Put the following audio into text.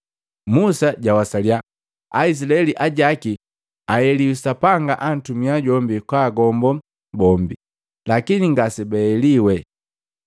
Musa jawasaliya Aizilaeli ajaki baeliwi Sapanga antumia jombi kwaagombo bombi, lakini ngasebaeliwe.